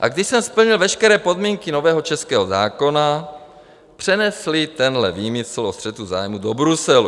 A když jsem splnil veškeré podniky nového českého zákona, přenesli tenhle výmysl o střetu zájmů do Bruselu.